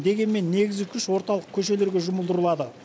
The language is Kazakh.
дегенмен негізгі күш орталық көшелерге жұмылдырылады